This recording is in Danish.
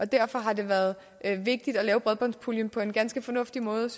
derfor har det været vigtigt at lave bredbåndspuljen på en ganske fornuftig måde